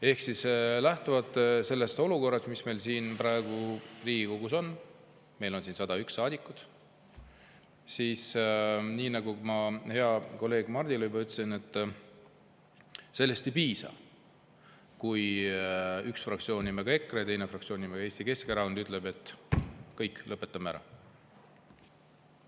Ehk siis lähtuvalt sellest olukorrast, mis meil siin Riigikogus on – meil on siin 101 saadikut –, nii nagu ma heale kolleegile Mardile juba ütlesin, sellest ei piisa, kui üks fraktsioon nimega EKRE ja teine fraktsioon nimega Eesti Keskerakond ütleb, et kõik, lõpetame ära.